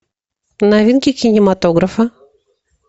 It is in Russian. новинки кинематографа